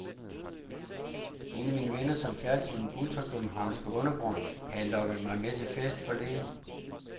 En af mine venner, som færdes i den ultrakøbenhavnske undergrund, havde lokket mig med til fest forleden.